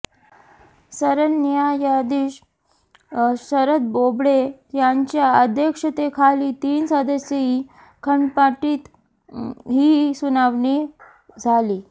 सरन्यायाधीश शरद बोबडे यांच्या अध्यक्षतेखाली तीन सदस्यीय खंडपीठात ही सुनावणी झाली